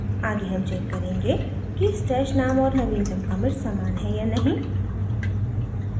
आगे हम check करेंगे कि stash name और नवीनतम commit समान हैं या नहीं